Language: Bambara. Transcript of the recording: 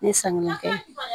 Ne sannikɛ